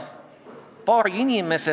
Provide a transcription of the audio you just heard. See on väga oluline küsimus.